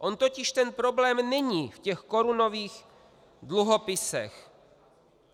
On totiž ten problém není v těch korunových dluhopisech.